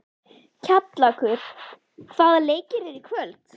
Kjallakur, hvaða leikir eru í kvöld?